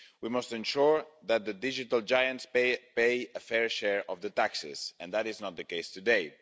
We must ensure that the digital giants pay a fair share of the taxes, and that is not the case today.